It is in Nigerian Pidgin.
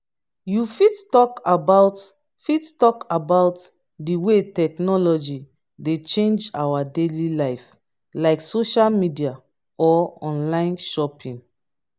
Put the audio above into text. you fit talk about fit talk about di way technology dey change our daily life like social media or online shopping.